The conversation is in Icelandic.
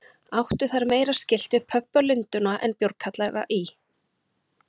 Áttu þær meira skylt við pöbba Lundúna en bjórkjallara í